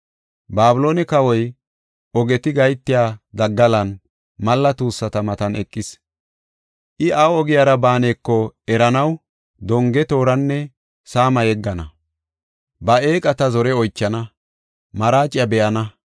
Babiloone kawoy ogeti gahetiya daggalan, malla tuussata matan eqees. I awu ogiyara baaneko eranaw, donge tooran saama yeggana; ba eeqata zore oychana; maraaciya be7ana.